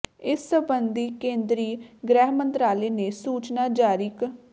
ਇਸ ਸਬੰਧੀ ਕੇਂਦਰੀ ਗ੍ਰਹਿ ਮੰਤਰਾਲੇ ਨੇ ਸੂਚਨਾ ਜਾਰੀ ਕ